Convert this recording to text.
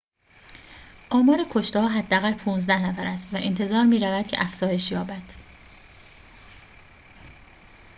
آمار کشته‌ها حداقل ۱۵ نفر است و انتظار می‌رود که افزایش یابد